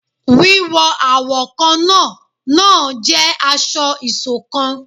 Wíwọ awọ kánna náà n jẹ aṣọ-isokan